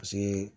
Paseke